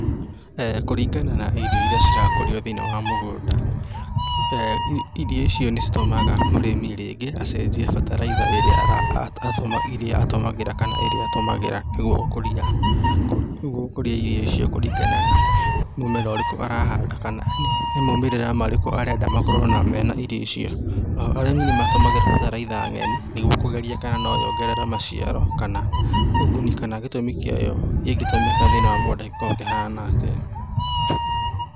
Kũringana na irio iria cirakũrio thĩ-inĩ wa mũgũnda, irio icio nĩ citũmaga mũrĩmi rĩngĩ acenjie bataraitha ĩrĩa atũmagĩra, ĩrĩa atũmagĩra kana ĩrĩa atũmagĩra nĩguo gũkũria, gũkũria irio icio kũringana na mũmera ũrĩkũ arahanda kana nĩ maumĩrĩra marĩkũ arenda makorwo mena irio icio. O ho arĩmĩ nĩ matũmagĩra bataraitha ng'eni nĩguo kũgeria kana no yongerere maciaro kana ũguni, kana gĩtũmi kĩayo ingĩtũmĩka thĩiniĩ wa mũgũnda gĩkoragwo kĩhana atĩa